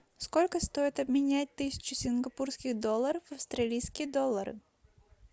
сколько стоит обменять тысячу сингапурских долларов в австралийские доллары